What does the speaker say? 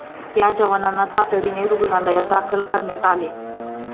या जवानांना तातडीने रुग्णालयात दाखल करण्यात आले.